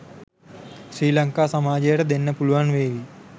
ශ්‍රී ලංකා සමාජයට දෙන්න පුළුවන් වේවි